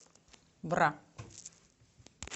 бра